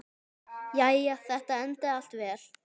Jæja, þetta endaði allt vel.